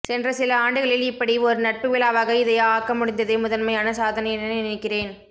சென்ற சில ஆண்டுகளில் இப்படி ஒரு நட்புவிழாவாக இதை ஆக்கமுடிந்ததே முதன்மையான சாதனை என நினைக்கிறேன்